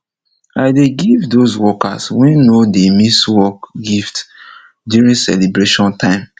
i dey give dos workers wey nor dey miss work gift during celeybration time